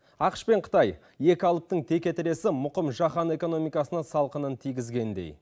ақш пен қытай екі алыптың текетіресі мұқым жаһан экономикасына салқынын тигізгендей